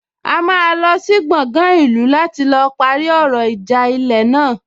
A máa lọ sí gbọgán ìlú láti lọ parí ọ̀rọ̀ ìjà ilẹ̀ náà